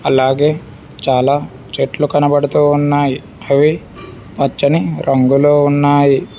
అలాగే చాలా చెట్లు కనబడుతూ ఉన్నాయి అవి పచ్చని రంగులో ఉన్నాయి.